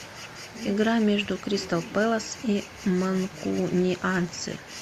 игра между кристал пэлас и манкунианцы